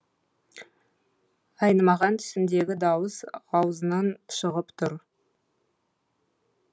айнымаған түсіндегі дауыс аузынан шығып тұр